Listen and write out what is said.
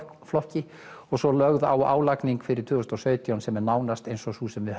flokki og svo lögð á álagning fyrir tvö þúsund og sautján sem er nánast eins og sú sem við